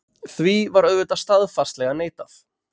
Því var auðvitað staðfastlega neitað.